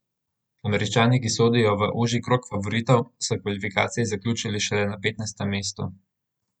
Američani, ki sodijo v ožji krog favoritov, so kvalifikacije zaključili šele na petnajstem mestu.